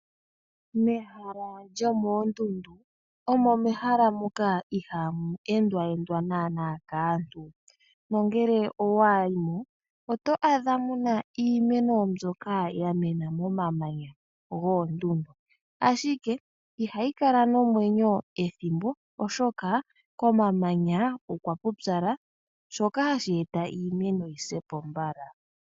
Mehala lyoondundu omo mehala moka ihaamu endwa endwa naanaa kaantu. Ngele owa yi mo oto adha iimeno mbyoka ya mena momamanya goondundu, ashike ihayi kala nomwenyo ethimbo oshoka komamanya okwa pupyala, shoka hashi eta iimeno yi se po mbala.